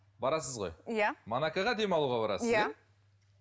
барасыз ғой иә монакоға демалуға барасыз иә